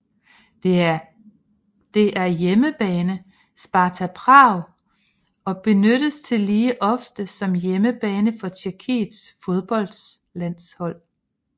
Det er hjemmebane Sparta Prag og benyttes tillige ofte som hjemmebane for tjekkiets fodboldlandshold